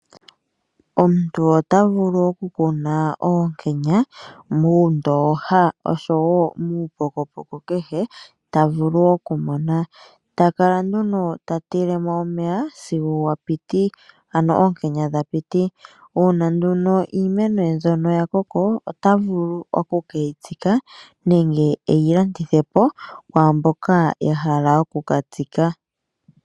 Omuntu otavulu okukuna oonkenya muundooha oshowo muupokopoko kehe tavulu okumona takala nduno ta tilemo omeya sigo oonkenya dha piti .Uuna nduno iimeno mbyono yakoko ota vulu oku keyitsika nenge eyi landithepo kwaamboka yahala oku katsika.